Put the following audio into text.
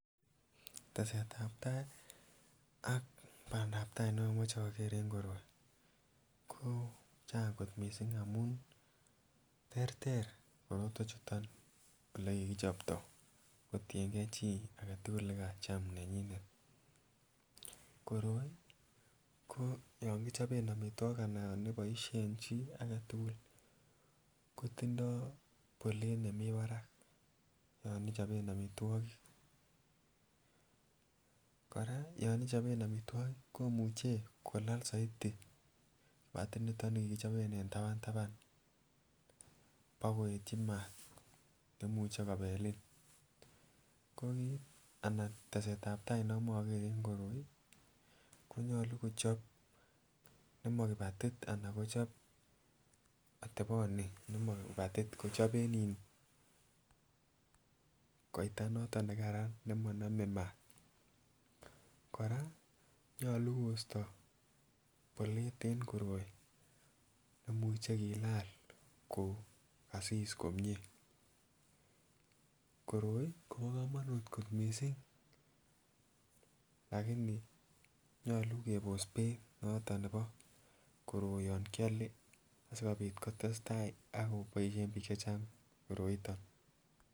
Tesetab tai ak pandap tai neomuche okere en koroi ko Chang kot missing amun terter korotwek chuton ole kikichopto kotiyengee chii agetukul nekacham nenyinet, koroi ko yon kichobe omitwokik ana yon iboishen chii agetukul kotindoi bolet nemii barak yon ichoben omitwokik. Koraa yon ichoben omitwokik komuche kolal soiti patit niton nikikichoben en taban taban bokoetyi maat nemuche kobelin ko kit anan tesetab tai neomo okere en koroi konyolu kochop nemakipatit anan kochop oteponi nemokipatit kochoben iih koita noton nekaran nemonome maat koraa nyolu koisto bolet en koroi nemuche kila kokasis komie. Koroi Kobo komonut kot missing lakini nyolu kebos beit noton nebo koroi yon kiole sikopit kotestai akoboishen bik chechang koroiton.